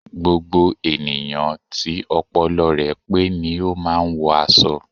Gbogbo ènìyàn tí ọpọlọ rẹ pé ni o máà ń wọ aṣọ